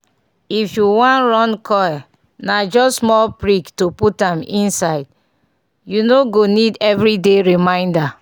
if u wan run coil na just small prick to put am inside -- u no go need everyday reminder